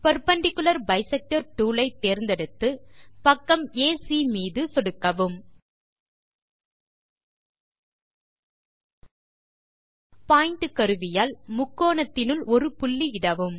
perpendicular bisector tool ஐ தேர்ந்து பக்கம் ஏசி மீது சொடுக்கவும் பாயிண்ட் கருவியால் முக்கோணத்தினுள் ஒரு புள்ளி இடவும்